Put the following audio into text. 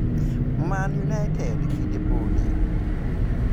Man united kinde podi